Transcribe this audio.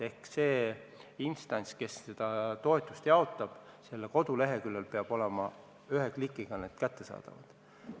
Ehk see instants, kes toetusi jaotab, peab oma koduleheküljel need avaldama, need peavad olema ühe klikiga kättesaadavad.